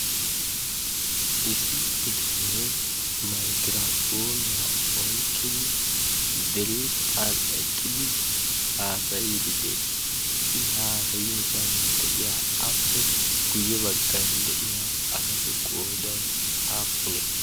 issi bitanee maigirafoniyaa oiqqidi diriphan eqqidi haasayiddi dees. i haasayiyoosan de7iya appe guyye baggan de7iya asatu qoodai aappunee?